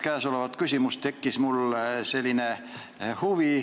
Käesolevat küsimust arutades tekkis mul asja vastu selline huvi.